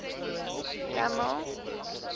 kamel